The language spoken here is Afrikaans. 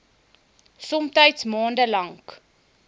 somtyds maande lank